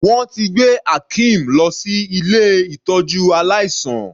Wọ́n ti gbé Akeem lọ sí ilé ìtọ́jú aláìsàn.